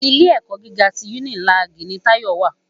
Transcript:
Ilé èkò gigá ti unilági ni Tayo wá